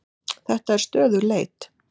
Þetta er stöðug leit!